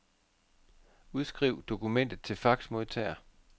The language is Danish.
Udskriv dokumentet til faxmodtager.